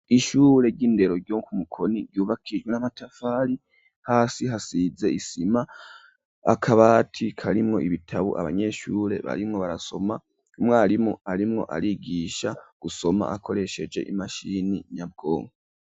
Ishure ry'indero ryo ku Mukoni ryubakishijwe n'amatafari hasi hasize isima. Akabati karimwo ibitabu abanyeshure barimwo barasoma. Umwarimu arimwo arigisha gusoma akoresheje imashini nyabwonko.